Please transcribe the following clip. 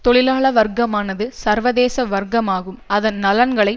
தொழிலாள வர்க்கமானது சர்வதேச வர்க்கம் ஆகும் அதன் நலன்கள்